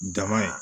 Dama in